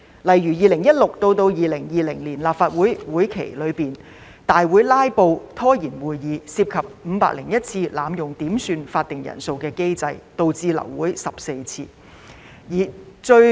例如，在2016年至2020年立法會會期中，有議員在大會"拉布"，涉及501次濫用點算法定人數機制，導致流會14次。